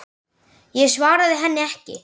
Ég svaraði henni ekki.